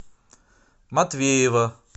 матвеева